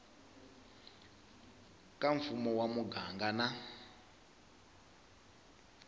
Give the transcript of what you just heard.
ka mfumo wa muganga na